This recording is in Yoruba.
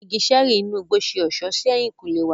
Awọn ìgi ṣẹẹri inú igbó yóò ṣe ọṣọ sí ehinkunle wà.